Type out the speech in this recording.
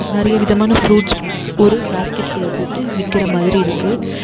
நறிய விதமான ஃப்ரூட்ஸ் ஒரு பாஸ்கெட் குள்ள போட்டு விக்கற மாதிரி இருக்கு.